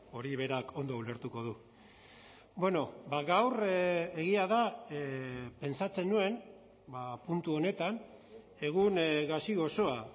hori berak ondo ulertuko du gaur egia da pentsatzen nuen puntu honetan egun gazi gozoa